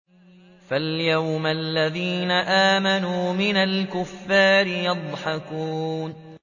فَالْيَوْمَ الَّذِينَ آمَنُوا مِنَ الْكُفَّارِ يَضْحَكُونَ